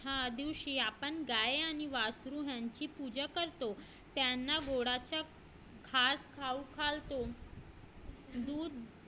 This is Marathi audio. ह्या दिवशी आपण गाय आणि वासरू यांची पूजा करतो त्यांना गुळाचा घास खाऊ घालतो दूध